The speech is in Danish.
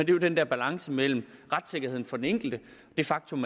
jo den der balance mellem retssikkerheden for den enkelte det faktum